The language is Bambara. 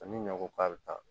Ni ɲɔ ko k'a bɛ taa